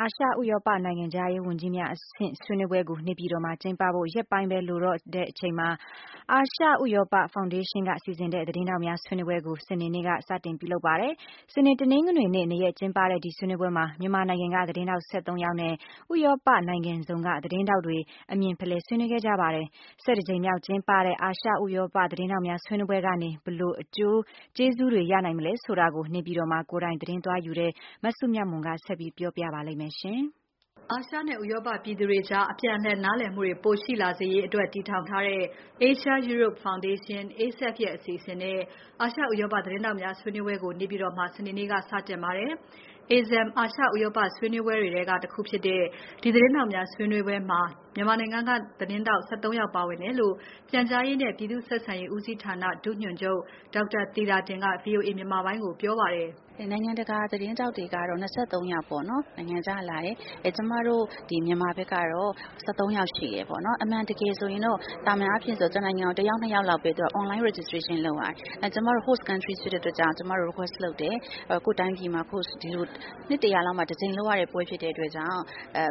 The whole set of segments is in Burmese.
အာရှ ဥရောပနိုင်ငံခြားရေးဝန်ကြီးများအဆင့်ဆွေးနွေးပွဲကို နေပြည်တော်မှာ ကျင်းပဖို့ရက်ပိုင်းပဲလိုတော့ချိန်မှာ အာရှဥရောပဖောင်ဒေးရှင်းက စီစဉ်တဲ့ သတင်းထောက်များဆွေးနွေးပွဲကို စနေနေ့က စတင်ပြုလုပ်ပါတယ်။ စနေ တနင်္ဂနွေနေ့ ၂ ရက်ကျင်းပတဲ့ဒီဆွေးနွေးပွဲမှာ မြန်မာနိုင်ငံက သတင်းထောက် ၁၃ ယောက်နဲ့ ဥရောပနိုင်ငံစုံက သတင်းထောက်တွေ အမြင်ဖလှယ်ဆွေးနွေးနေကြပါတယ်။ ၁၁ ကြိမ်မြောက်ကျင်းပတဲ့ အာရှ ဥရောပသတင်းထောက်များ ဆွေးနွေးပွဲကနေ ဘယ်လိုအကျိုးကျေးဇူးတွေ ရနိုင်မလဲဆိုတာကို နေပြည်တော်မှာ ကိုယ်တိုင်သတင်းသွားယူတဲ့ မစုမြတ်မွန်က ဆက်ပြီးပြောပါလိမ့်မယ်။ အာရှနဲ့ ဥရောပပြည်သူတွေကြား အပြန်အလှန်နားလည်မှုတွေ ပိုရှိလာစေရေးအတွက် တည်ထောင်ထားတဲ့ Asia Europe Foundation, ASEF ရဲ့အစီအစဉ်နဲ့ အာရှ ဥရောပသတင်းထောက်များ ဆွေးနွေးပွဲကို နေပြည်တော်မှာ စနေနေ့က စတင်ပါတယ်။ ASEM အာရှ ဥရောပဆွေးနွေးပွဲတွေထဲက တခုဖြစ်တဲ့ ဒီသတင်းထောက်များဆွေးနွေးပွဲမှာ မြန်မာနိုင်ငံကသတင်းထောက် ၁၃ ယောက်ပါဝင်တယ်လို့ ပြန်ကြားရေးနဲ့ ပြည်သူ့ဆက်ဆံရေးဦးစီးဌာန ဒုညွှန်ချုပ် ဒေါက်တာသီတာတင်က VOA မြန်မာပိုင်းကိုပြောပါတယ်။ “နိုင်ငံတကာ သတင်းထောက်တွေကတော့ ၂၃ ယောက်ပေါ့နော် နိုင်ငံခြားက လာတယ်။ ကျမတို့ မြန်မာဖက်ကတော့ ၁၃ ယောက်ရှိတယ်ပေါ့နော်။ အမှန်တကယ်ဆိုရင်တော့ သာမန်အားဖြင့်ဆိုရင်တော့ တစ်နိုင်ငံကို တစ်ယောက် နှစ်ယောက်လောက်ပဲ online registration လုပ်ရတယ်။ ကျမတို့ host country ဖြစ်တဲ့အတွက်ကြောင့် ကျမတို့ request လုပ်တယ်။ ကိုယ့်တိုင်းပြည်မှာ host ဒီလို နှစ်တရာလောက်မှ တကြိမ်လုပ်ရတဲ့ ပွဲ ဖြစ်တဲ့အတွက်ကြောင့်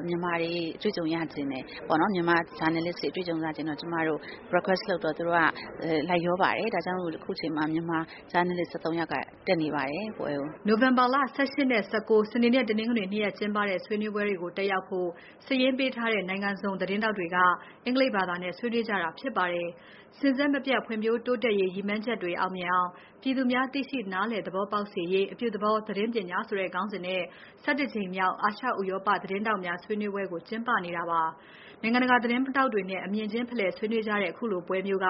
မြန်မာတွေ အတွေ့အကြုံရချင်တယ်။ မြန်မာ ဂျာနယ်လစ်တွေ အတွေ့အကြုံရချင်တယ်ဆိုတော့ ကျမတို့ request လုပ်တော့ သူတို့က လိုက်လျောပါတယ်။ ဒါကြောင့်မို့ အခုချိန်မှာ မြန်မာ ဂျာနယ်လစ် ၁၃ယောက်က တက်နေပါတယ် ဒီပွဲကို။” နိုဝင်ဘာ ၁၈ နဲ့ ၁၉ စနေနဲ့ တနင်္ဂနွေနေ့ ၂ ရက်ကျင်းပတဲ့ ဆွေးနွေးပွဲတွေကို တက်ရောက်ဖို့ စာရင်းပေးထားတဲ့ နိုင်ငံစုံသတင်းထောက်တွေက အင်္ဂလိပ်ဘာသာနဲ့ ဆွေးနွေးကြတာဖြစ်ပါတယ်။ စဉ်ဆက်မပြတ်ဖွံ့ဖြိုးတိုးတက်ရေး ရည်မှန်းချက်တွေအောင်မြင်အောင် ပြည်သူများ သိရှိနားလည်သဘောပေါက်စေရေး အပြုသဘောသတင်းပညာ ဆိုတဲ့ ခေါင်းစဉ်နဲ့ ၁၁ ကြိမ်မြောက် အာရှ ဥရောပသတင်းထောက်များဆွေးနွေးပွဲကို ကျင်းပနေတာပါ။ နိုင်ငံတကာသတင်းထောက်တွေနဲ့ အမြင်ချင်းဖလှယ်ဆွေးနွေးကြတဲ့ ခုလိုပွဲမျိုးက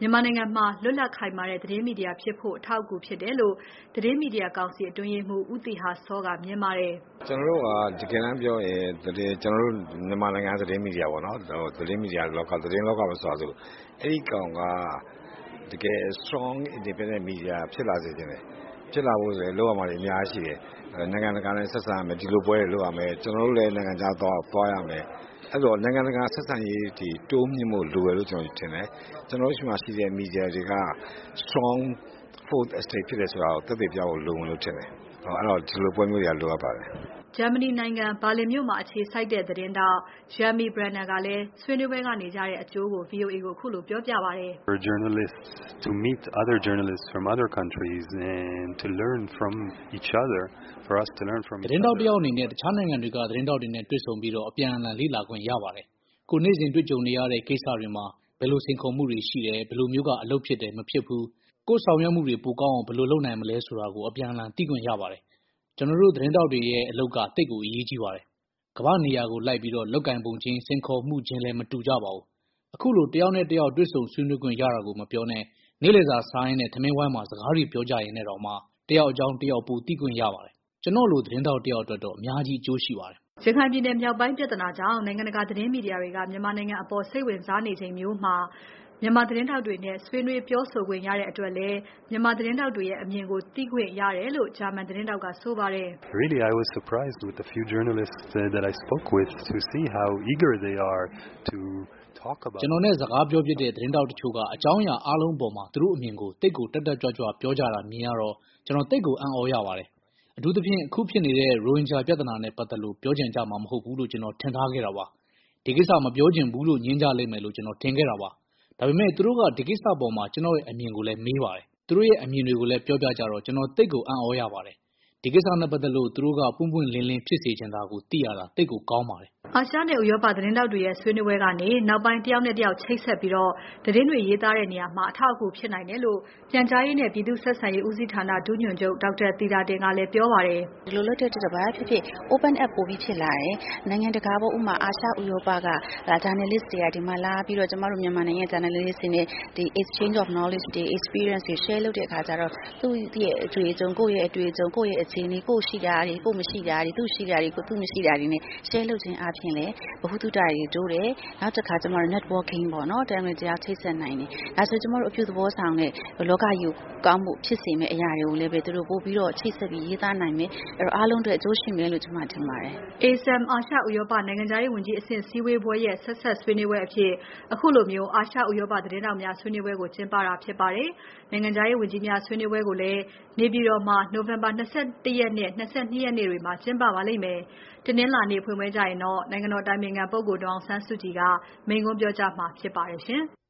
မြန်မာနိုင်ငံမှာ လွတ်လပ်ခိုင်မာတဲ့ သတင်းမီဒီယာဖြစ်ဖို့ အထောက်အကူဖြစ်တယ်လို့ သတင်းမီဒီယာကောင်စီ အတွင်းရေးမှူး ဦးသီဟစောက မြင်ပါတယ်။ “ကျနော်တို့က တကယ်တမ်းပြောရရင် ကျနော်တို့ မြန်မာနိုင်ငံက သတင်းမီဒီယာပေါ့နော်၊ သတင်းမီဒီယာလောက၊ သတင်းလောကပဲဆိုပါစို့။ အဲဒီကောင်က တကယ် strong independent media ဖြစ်လာစေချင်တယ်။ ဖြစ်လာဖို့လည်း လုပ်ရမှာတွေ အများကြီးရှိတယ်။ နိုင်ငံတကာနဲ့ ဆက်ဆံရမယ်။ ဒီလိုပွဲတွေ လုပ်ရမယ်။ ကျနော်တို့လည်း နိုင်ငံခြားသွားရမယ်။ အဲဒီတော့ နိုင်ငံတကာဆက်ဆံရေးတွေ တိုးမြှင့်ဖို့လိုတယ်လို့ ကျနော် ထင်တယ်။ ကျနော်တို့ဆီမှာ ရှိတဲ့ မီဒီယာတွေက strong 4th estate ဖြစ်တယ်ဆိုတာကို သက်သေပြဖို့ လိုမယ်လို့ ထင်တယ်။ အဲဒီတော့ ဒီလိုပွဲမျိုးတွေက လိုအပ်ပါတယ်။” ဂျာမနီနိုင်ငံ ဘာလင်မြို့မှာအခြေစိုက်တဲ့ သတင်းထောက် Yermi Brenner ကလည်း ဆွေးနွေးပွဲကနေ ရတဲ့အကျိုးကို VOA ကိုခုလိုပြောပြပါတယ်။ “သတင်းထောက်တယောက်အနေနဲ့ တခြားနိုင်ငံတွေက သတင်းထောက်တွေနဲ့တေ့ွဆုံပြီး အပြန်အလှန်လေ့လာခွင့်ရတယ်။ ကိုယ်နေ့စဉ်ကြုံတွေ့နေရတဲ့ ကိစ္စတွေမှာ ဘယ်လိုစိန်ခေါ်မှုတွေရှိတယ်။ ဘယ်လိုမျိုးက အလုပ်ဖြစ်တယ်။ မဖြစ်ဘူး။ နောက်ကိုယ့် ဆောင်ရွက်မှုတွေ ပိုကောင်းအောင် ဘယ်လိုလုပ်နိုင်မလဲဆိုတာကို အပြန်အလှန်သိခွင့်ရပါတယ်။ ကျွန်တော်တို့သတင်းထောက်တွေရဲ့ အလုပ်ကသိပ်အရေးကြီးပါတယ်။ ကမ္ဘာ့နေရာလိုက်ပြီး လုပ်ကိုင်ပုံခြင်း။ စိန်ခေါ်မှုခြင်းလည်း မတူကြပါဘူး။ အခုလိုတယောက်နဲ့တယောက် တေ့ွဆုံဆွေးနွေးခွင့်ရတာမပြောပါနဲ့ နေ့လည်စာစားရင်း ထမင်းဝိုင်းမှာ စကားတွေပြောကြရင်းနဲ့တောင် တယောက်အကြောင်း တယောက်ပိုသိခွင့်ရပါတယ်။ ကျွန်တော့်လိုသတင်းသမားတယောက်အတွက်တော့ အများကြီးအကျိုးရှိပါတယ်။” ရခိုင်ပြည်နယ်မြောက်ပိုင်းပြဿနာကြောင့် နိုင်ငံတကာသတင်းမီဒီယာတွေက မြန်မာနိုင်ငံအပေါ် စိတ်ဝင်စားနေချိန်မျိုးမှာ မြန်မာသတင်းထောက်ထောက်တွေနဲ့ ဆွေးနွေးပြောဆိုခွင့်ရတဲ့အတွက်လည်း မြန်မာသတင်းထောက်တွေရဲ့ အမြင်ကို သိခွင့်ရတယ်လို့ ဂျာမန်သတင်းထောက်က ဆိုပါတယ်။ “ကျွန်တော်နဲ့ စကားပြောဖြစ်တဲ့ သတင်းထောက်တချို့က သူတို့ရဲ့ အကြောင်းအရာအားလုံးအပေါ် သူတို့အမြင်တွေကို သိပ်ကိုတက်တက်ကြွ ပြောကြတာမြင်ရတော့ ကျွန်တော်သိပ်ကိုအံ့သြရပါတယ်။ အထူးသဖြင့် အခုဖြစ်နေတဲ့ ရိုဟင်ဂျာပြဿနာနဲ့ပါတ်သက်လို့ ပြောချင်ကြမှာ မဟုတ်ဘူးလို့ ကျွန်တော်ထင်ထားခဲ့တာပါ။ ဒီကိစ္စမပြောချင်ဘူးလို့ ငြင်းကြမယ်လို့ ကျွန်တော်ထင်နေခဲ့တာပါ။ ဒါပေမဲ့ သူတို့က ဒီကိစ္စအပေါ် ကျွန်တော်ရဲ့အမြင်ကိုမေးကြတယ်။ သူတို့ရဲ့အမြင်တွေကို ပြောပြကြတော့ ကျွန်တော်သိပ်ကိုအံ့သြရပါတယ်။ ဒီကိစ္စနဲ့ပါတ်သက်လို့ သူတို့က ပွင့်ပွင့်လင်းလင်းဖြစ်စေချင်တာ သိရတာ သိပ်ကောင်းပါတယ်။” အာရှနဲ့ ဥရောပသတင်းထောက်တွေရဲ့ ဆွေးနွေးပွဲကနေ နောက်ပိုင်း တယောက်နဲ့ တယောက်ချိတ်ဆက်ပြီး သတင်းတွေရေးသားတဲ့နေရာမှာ အထောက်အကူ ဖြစ်နိုင်တယ်လို့ ပြန်ကြားရေးနဲ့ ပြည်သူ့ဆက်ဆံရေးဦးစီးဌာန ဒုညွှန်ချုပ် ဒေါက်တာသီတာတင်ကလည်း ပြောပါတယ်။ “ဒီလို လုပ်တဲ့အတွက်တော့ ဘာပဲဖြစ်ဖြစ် open up ပိုပြီး ဖြစ်လာတယ်။ နိုင်ငံတကာပေါ့ ဥပမာ အာရှ ဥရောပ ဂျာနယ်လစ်တွေက ဒီမှာ လာပြီးတော့ ကျမတို့ မြန်မာနိုင်ငံက ဂျာနယ်လစ်တွေနဲ့ ဒီ exchange of knowledge တွေ၊ experience တွေ share လုပ်တဲ့အခါကျတော့ သူ့ရဲ့အတွေ့အကြုံ၊ ကိုယ့်ရဲ့ အတွေ့အကြုံ၊ ကိုယ့်ရဲ့ အခြေအနေ၊ ကိုယ့် ရှိတာတွေ၊ ကိုယ့် မရှိတာတွေ၊ သူ့ ရှိတာတွေကို သူ့ မရှိတာတွေနဲ့ share လုပ်ခြင်းအားဖြင့်လည်း ဗဟုသုတတွေ တိုးတယ်။ နောက်တစ်ခါ ကျမတို့ networking ပေါ့နော်။ တစ်ယောက်နဲ့ တစ်ယောက် ချိတ်ဆက်နိုင်တယ်။ ဒါဆို ကျမတို့ အပြုသဘောဆောင်တဲ့ လောကကြီးကို ကောင်းဖို့ ဖြစ်စေမယ့်အရာတွေကိုလည်းပဲ သူတို့ ပိုပြီးတော့ ချိတ်ဆက်ပြီး ရေးသားနိုင်မယ်။ အဲဒီတော့ အားလုံးအတွက် အကျိုးရှိမယ်လို့ ကျမ ထင်ပါတယ်။” ASEM အာရှ ဥရောပနိုင်ငံခြားရေးဝန်ကြီးအဆင့်စည်းဝေးပွဲရဲ့ ဆက်စပ်ဆွေးနွေးပွဲအဖြစ် ခုလိုအာရှ ဥရောပသတင်းထောက်များဆွေးနွေးပွဲကို ကျင်းပတာဖြစ်ပါတယ်။ နိုင်ငံခြားရေးဝန်ကြီးများဆွေးနွေးပွဲကိုလည်း နေပြည်တော်မှာ နိုဝင်ဘာ ၂၁ ရက်နဲ့ ၂၂ ရက်နေ့တွေမှာ ကျင်းပပါလိမ့်မယ်။ တနင်္လာနေ့ဖွင့်ပွဲကျရင် နိုင်ငံတော်အတိုင်ပင်ခံဒေါ်အောင်ဆန်းစုကြည်က မိန့်ခွန်းပြောကြားမှာဖြစ်ပါတယ်ရှင်။